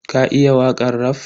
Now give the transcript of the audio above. Ka iya wakan raf?